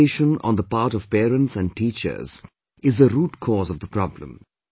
Expectation on the part of parents and teachers is the root cause of the problem